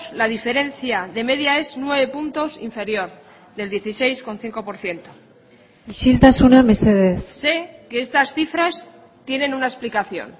la diferencia de media es nueve puntos inferior del dieciséis coma cinco por ciento isiltasuna mesedez sé que estas cifras tienen una explicación